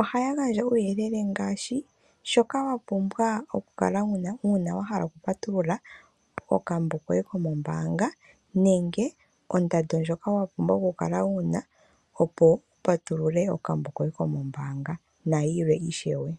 Ohaya gandja uuyelele ngaashi shoka wapumba okukala wuna kokambo uuna wahala okupatulula okambo koye kombaanga nenge ondando ndjoka wapumbwa okukala wuna opo wu patulule ombaanga nayilwe ishewe.